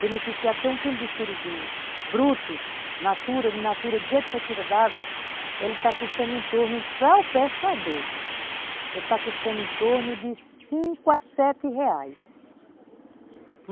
Beneficiar, porque um quilo de surubim bruto, natura, in natura, do jeito que você tira d'água, ele está custando em torno, para o pescador, ele está custando em torno de cinco a sete reais.